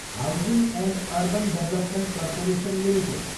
housing and urban development corporation limited